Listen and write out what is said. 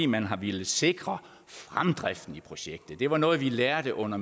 man har villet sikre fremdriften i projektet det var noget vi lærte under